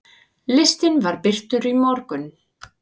Listinn var birtur í morgun.